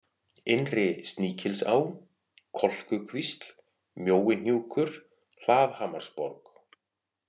Innri-Sníkilsá, Kolkukvísl, Mjóihnjúkur, Hlaðhamarsborg